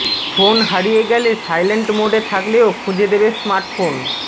phone হারিয়ে গেলে silent মোডে থাকলেও খুঁজে দেবে স্মার্টফোন